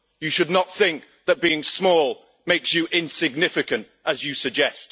You should not think that being small makes you insignificant, as you suggest.